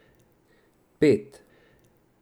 Pet.